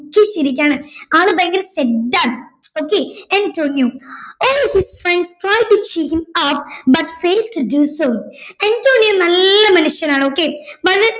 ദുഃഖിച്ചിരിക്കാണ് ആള് ഭയങ്കര sad ആണ് okay Antonio all his friends but Antonio നല്ല മനുഷ്യനാണ് okay വളരെ